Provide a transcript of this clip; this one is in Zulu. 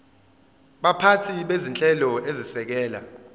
baphathi bezinhlelo ezisekela